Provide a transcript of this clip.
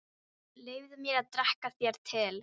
Leyfðu mér að drekka þér til.